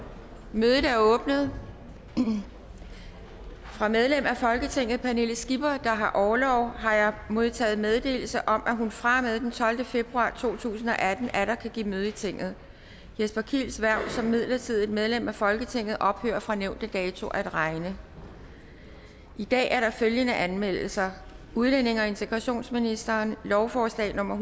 mødet er åbnet fra medlem af folketinget pernille skipper der har orlov har jeg modtaget meddelelse om at hun fra og med den tolvte februar to tusind og atten atter kan give møde i tinget jesper kiels hverv som midlertidigt medlem af folketinget ophører fra nævnte dato at regne i dag er der følgende anmeldelser udlændinge og integrationsministeren lovforslag nummer